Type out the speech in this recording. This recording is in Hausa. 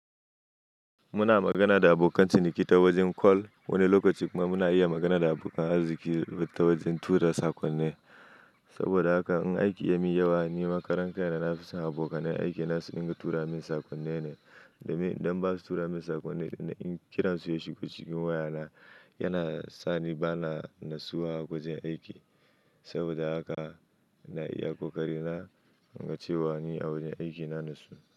Muna magana da abokan ciniki ta wajen call. Wani lokaci kuma muna iya magana da abokan arziƙi ta wajen tura sakonni. Saboda haka in aiki yamin yawa, ni ma karan kaina nafi son abokanan aiki na su dinga tura min sakonni ne. Domin idan basu tura min sakonni idan kiran su shigo waya na, yana sani bana natsuwa a wajen aiki. Saboda haka na iya ƙoƙari na, in ga cewa ni agurin aiki na natsu.